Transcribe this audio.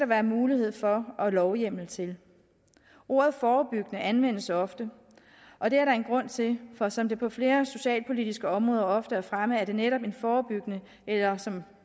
være mulighed for og lovhjemmel til ordet forebyggende anvendes ofte og det er der en grund til for som det på flere socialpolitiske områder ofte er fremme er det netop en forebyggende eller som